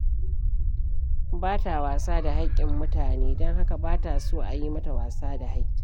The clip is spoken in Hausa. Ba ta wasa da hakkin mutane, don haka ba ta so a yi mata wasa da hakki.